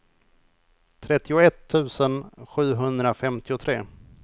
trettioett tusen sjuhundrafemtiotre